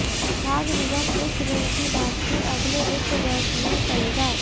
खाद्य निगम इस ऋण की वापसी अगले वित्त वर्ष में करेगा